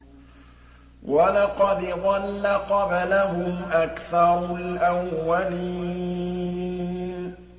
وَلَقَدْ ضَلَّ قَبْلَهُمْ أَكْثَرُ الْأَوَّلِينَ